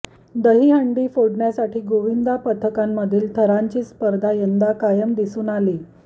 दही हंडी फोडण्यासाठी गोविंदा पथकांमधील थरांची स्पर्धा यंदा कायम दिसून आली